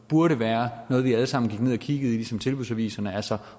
burde være noget vi alle sammen kiggede i ligesom i tilbudsaviserne altså